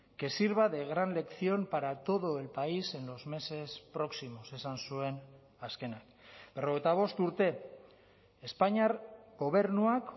que sirva de gran lección para todo el país en los meses próximos esan zuen azkenak berrogeita bost urte espainiar gobernuak